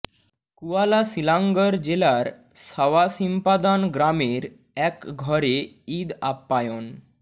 koala Selangor জেলার Sawah Sempadan গ্রামের এক ঘরে ঈদ আপ্যায়ন